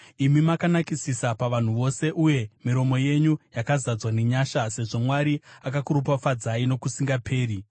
Imi makanakisisa pavanhu vose uye miromo yenyu yakazadzwa nenyasha, sezvo Mwari akakuropafadzai nokusingaperi.